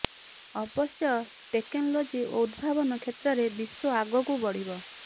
ଅବଶ୍ୟ ଟେକନୋଲଜି ଓ ଉଦ୍ଭାବନ କ୍ଷେତ୍ରରେ ବିଶ୍ୱ ଆଗକୁ ବଢ଼ିବ